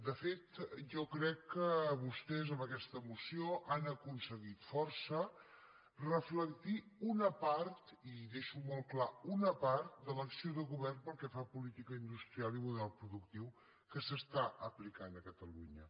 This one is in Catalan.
de fet jo crec que vostès amb aquesta moció han aconseguit força reflectir una part i deixo molt clar una part de l’acció de govern pel que fa a política industrial i model productiu que s’està aplicant a catalunya